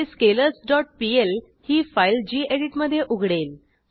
हे scalars dot PL ही file गेडीत मधे उघडेल